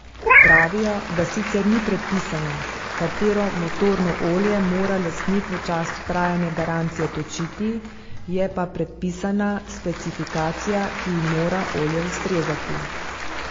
Pravijo, da sicer ni predpisano, katero motorno olje mora lastnik v času trajanja garancije točiti, je pa predpisana specifikacija, ki ji mora olje ustrezati.